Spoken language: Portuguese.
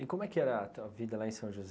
E como é que era a tua vida lá em São José?